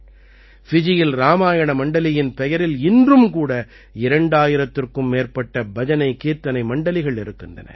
ஃபிஜியில் இராமாயண மண்டலியின் பெயரில் இன்றும் கூட 2000த்திற்கும் மேற்பட்ட பஜனைகீர்த்தனை மண்டலிகள் இருக்கின்றன